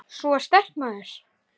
Sú er sterk, maður!